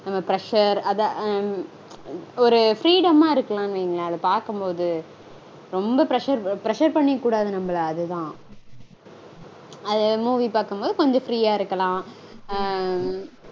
நம்ம Pressure அத ஒரு freedom -ஆ இருக்கலாம்னு வையுங்களேன் அத பாக்கும்போது. ரொம்ப pressure pressure பண்ணிக்கக்கூடாது நம்மல அதுதா. Movie பாக்கும்போது கொஞ்சம் free -ஆ இருக்கலாம் ஆஹ்